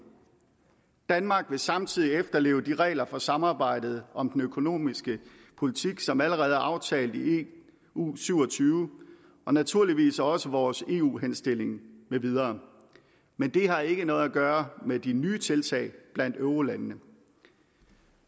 danmark vil samtidig efterleve de regler for samarbejdet om den økonomiske politik som allerede er aftalt i eu syv og tyve og naturligvis også vores eu henstilling med videre men det har ikke noget at gøre med de nye tiltag blandt eurolandene